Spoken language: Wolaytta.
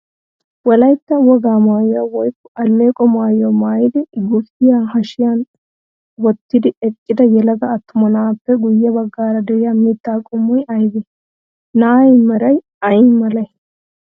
Wolaytta wogaa maayuwaa woykko alleeqo maayuwaa maayidi guufiyaa hashiyan wottidi eqqida yelaga attuma na'aappe guyye baggara de'iyaa mittaa qommoyi aybee? Na'aa meray ayimalee?